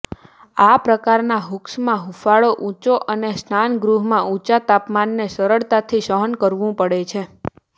આ પ્રકારના હુક્સમાં હૂંફાળો ઊંચો અને સ્નાનગૃહના ઊંચા તાપમાનને સરળતાથી સહન કરવું પડે છે